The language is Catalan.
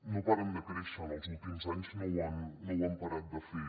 no pa·ren de créixer en els últims anys no ho han parat de fer